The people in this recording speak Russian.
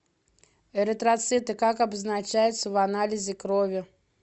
эритроциты как обозначаются в анализе крови